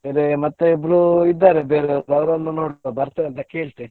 ಬೇರೆ ಮತ್ತೆ ಇಬ್ರು ಇದ್ದಾರೆ ಬೇರೆಯವರು ಅವರನ್ನು ನೋಡ್ತೇ ಬರ್ತೆ ಅಂತ ಕೇಳ್ತೇ.